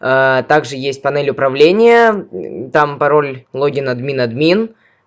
также есть панель управления там пароль логин админ админ